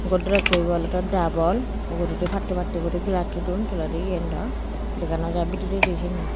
godrej so ibe olode dabon uguredi patto patto guri glassoi don toledi yen daw dega naw jai bidiredi sini.